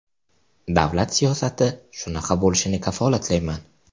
Davlat siyosati shunaqa bo‘lishini kafolatlayman.